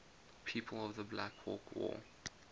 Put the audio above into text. people of the black hawk war